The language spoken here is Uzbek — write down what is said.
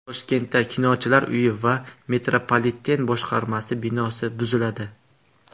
Toshkentda Kinochilar uyi va metropoliten boshqarmasi binosi buziladi.